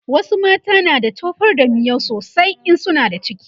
wasu mata na da tofar da miyau sosai in suna da ciki